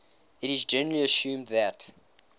it is generally assumed that